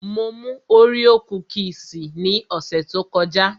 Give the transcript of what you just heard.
Mo mú Oreo kúkìsì ní ọ̀sẹ̀ tó kọjá